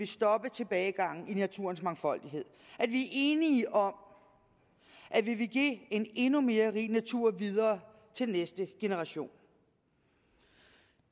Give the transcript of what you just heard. stoppe tilbagegangen i naturens mangfoldighed vi er enige om at vi vil give en endnu mere rig natur videre til næste generation